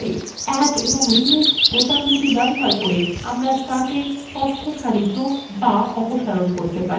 add এবং remove বোতাম ব্যবহার করে আমাদের chart থেকে তথ্য সারি যোগ অথবা অপসারণ করা যেতে পারে